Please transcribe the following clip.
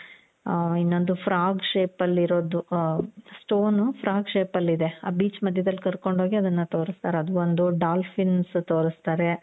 ಇನ್ನೊಂದು frog shape ಅಲ್ಲಿ ಇರೋದು. stone frog shape ಅಲ್ಲಿದೆ ಆ beach ಮಧ್ಯದಲ್ಲಿ ಕರ್ಕೊಂಡು ಹೋಗಿ ಅದುನ್ನ ತೋರುಸ್ತಾರೆ ಅದು ಒಂದು dolphins ತೋರುಸ್ತಾರೆ .